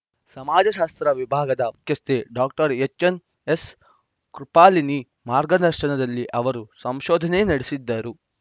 ಸಮಾಜ ಶಾಸ್ತ್ರ ವಿಭಾಗದ ಮುಖ್ಯಸ್ಥೆ ಡಾಕ್ಟರ್ ಎಚ್‌ಎಸ್‌ಕೃಪಾಲಿನಿ ಮಾರ್ಗದರ್ಶನಲ್ಲಿ ಅವರು ಸಂಶೋಧನೆ ನಡೆಸಿದ್ದರು